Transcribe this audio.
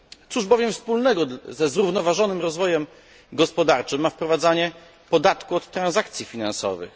Cóż bowiem wspólnego ze zrównoważonym rozwojem gospodarczym ma wprowadzanie podatku od transakcji finansowych?